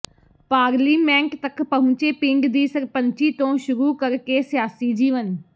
parliament ਤੱਕ ਪਹੁੰਚੇ ਪਿੰਡ ਦੀ ਸਰਪੰਚੀ ਤੋਂ ਸ਼ੁਰੂ ਕਰਕੇ ਸਿਆਸੀ ਜੀਵਨ